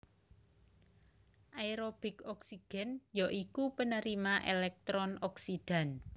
Aerobik oksigen ya iku penerima elektron oksidan